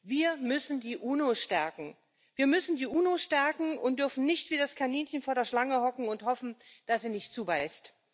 Wir müssen die UNO stärken und dürfen nicht wie das Kaninchen vor der Schlange hocken und hoffen, dass sie nicht zubeißt.